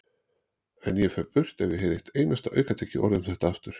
En ég fer burt ef ég heyri eitt einasta aukatekið orð um þetta aftur.